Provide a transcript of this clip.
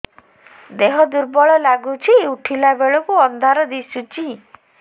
ଦେହ ଦୁର୍ବଳ ଲାଗୁଛି ଉଠିଲା ବେଳକୁ ଅନ୍ଧାର ଦିଶୁଚି